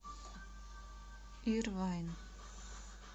ирвайн